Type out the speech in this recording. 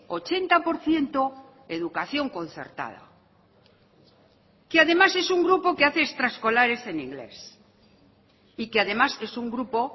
ochenta por ciento educación concertada que además es un grupo que hace extraescolares en inglés y que además es un grupo